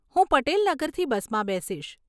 હું પટેલ નગરથી બસમાં બેસીશ.